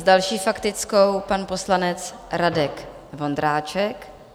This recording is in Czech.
S další faktickou pan poslanec Radek Vondráček.